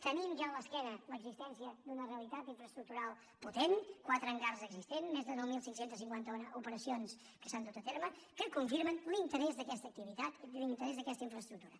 tenim ja a l’esquena l’existència d’una realitat infraestructural potent quatre hangars existents més de nou mil cinc cents i cinquanta un operacions que s’hi han dut a terme que confirmen l’interès d’aquesta activitat i l’interès d’aquesta infraestructura